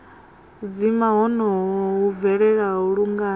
dzima honoho hu bvelela lungana